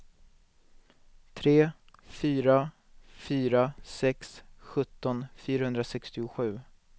tre fyra fyra sex sjutton fyrahundrasextiosju